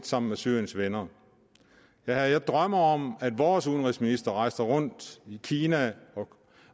sammen med syriens venner jeg drømmer om at vores udenrigsminister vil rejse rundt i kina